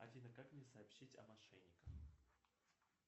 афина как мне сообщить о мошенниках